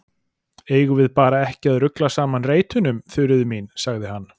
Eigum við bara ekki að rugla saman reitunum, Þuríður mín? sagði hann.